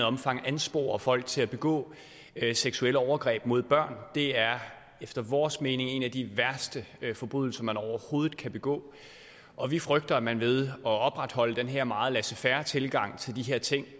omfang kan anspore folk til at begå seksuelle overgreb mod børn det er efter vores mening en af de værste forbrydelser man overhovedet kan begå og vi frygter at man ved at opretholde den her meget laissez faire tilgang til de her ting